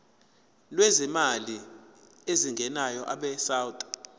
lwezimali ezingenayo abesouth